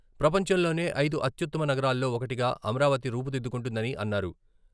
ప్రపంచంలోనే ఐదు అత్యుత్తమ నగరాల్లో ఒకటిగా అమరావతి రూపుదిద్దుకుంటుందని అన్నారు.